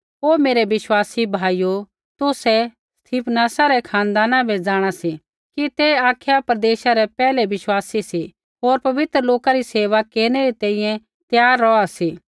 हे मेरै विश्वासी भाइयो तुसै स्तिफनासा रै खानदान बै जाँणा सी कि ते अखाया प्रदेशा रै पैहलै विश्वासी सी होर पवित्र लोका री सेवा केरनै री तैंईंयैं त्यार रौहा सी